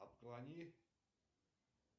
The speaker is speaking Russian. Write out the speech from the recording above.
отклони